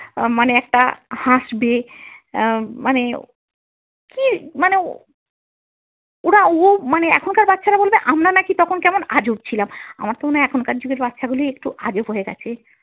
আহ মানে একটা হাসবে, আহ মানে কি মানে ওরা ও মানে এখনকার বাচ্ছারা বলবে আমরা নাকি তখন কেমন আজব ছিলাম, আমার তো মনে হয় এখনকার যুগের বাচ্ছা গুলোই একটু আজব হয়ে গেছে।